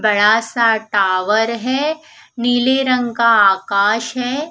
बड़ा सा टावर है नील रंग का आकाश है।